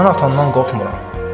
Mən atamdan qorxmuram.